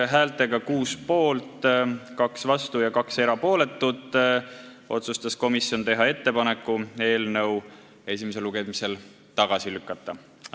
Häältega 6 poolt, 2 vastu ja 2 erapooletut otsustas komisjon teha ettepaneku eelnõu esimesel lugemisel tagasi lükata.